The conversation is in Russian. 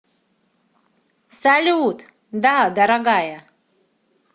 салют да дорогая